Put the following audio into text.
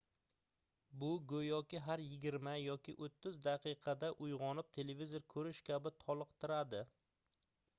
bu goʻyoki har yigirma yoki oʻttiz daqiqada uygʻonib televizor koʻrish kabi toliqtiradi